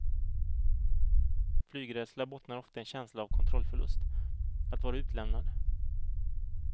Flygrädsla bottnar ofta i en känsla av kontrollförlust, att vara utlämnad.